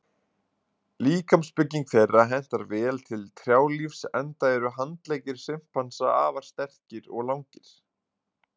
Líkamsbygging þeirra hentar vel til trjálífs enda eru handleggir simpansa afar sterkir og langir.